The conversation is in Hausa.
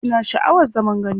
Ina sha'awar zaman gandu.